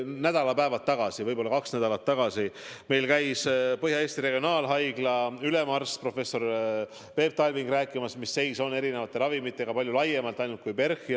Nädalapäevad tagasi, võib-olla kaks nädalat tagasi, käis meil Põhja-Eesti Regionaalhaigla ülemarst professor Peep Talving rääkimas, mis seis on erinevate ravimitega, ja seda palju laiemalt kui ainult PERH-is.